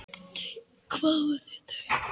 Þá kváðu þau